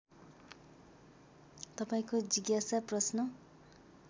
तपाईँको जिज्ञासा प्रश्न